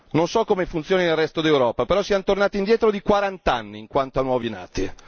Non so come funziona nel resto dell'Europa però siamo tornati indietro di 40 anni in quanto a nuovi nati.